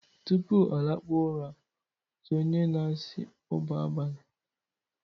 tupu ọ lakpuo ụra, otu onye na-asị 'ụba abalị'